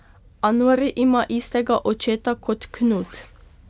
Anori ima istega očeta kot Knut.